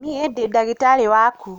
Niĩndĩdagĩtarĩwaku.